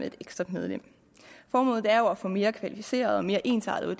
et ekstra medlem formålet er jo at få mere kvalificerede og mere ensartede